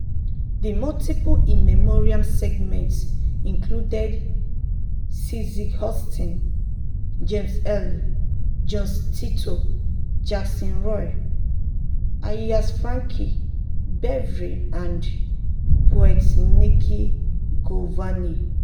the multiple in memoriam segments included cissy houston james earl jones tito jackson roy ayers frankie beverly and poet nikki giovanni.